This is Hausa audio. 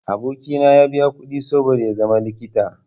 Aboki na ya biya kuɗi saboda ya zama likita.